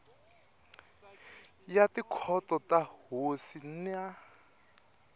ya tikhoto ta tihosi na